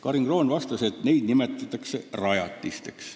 Karin Kroon vastas, et neid nimetatakse rajatisteks.